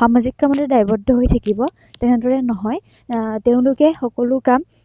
সামাজিক কামতে দায়ৱদ্ধ হৈ থাকিব, তেনেদৰে নহয় আহ তেওঁলোকে সকলো কাম